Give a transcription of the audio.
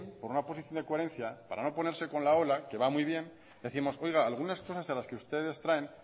por una oposición de coherencia para no ponerse con la ola que va muy bien décimos oiga algunas cosas de las que ustedes traen